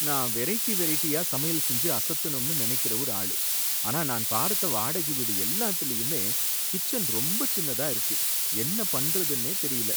நான் வெரைட்டி வெரைட்டியா சமையல் செஞ்சு அசத்தணும்னு நினைக்கற ஒரு ஆளு, ஆனா நான் பார்த்த வாடகை வீடு எல்லாத்துலயுமே கிச்சன் ரொம்ப சின்னதா இருக்கு, என்ன பண்றதுனே தெரியல